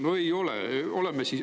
No ei ole!